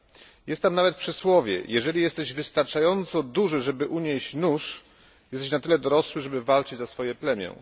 Funkcjonuje tam nawet przysłowie jeżeli jesteś wystarczająco duży, żeby unieść nóż, jesteś na tyle dorosły, żeby walczyć za swoje plemię.